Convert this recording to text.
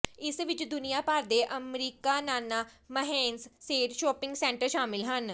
ਇਸ ਵਿੱਚ ਦੁਨੀਆ ਭਰ ਦੇ ਅਮਰੀਕਨਾਨਾ ਮੰਹੱਸੇਟ ਸ਼ਾਪਿੰਗ ਸੈਂਟਰ ਸ਼ਾਮਲ ਹਨ